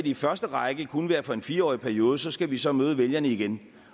i første række kun være for en fireårig periode så skal vi så møde vælgerne igen